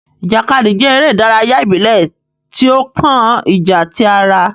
Ìjàkadì jẹ eré ìdárayá ibilẹ ti o kàn ìjà tí ará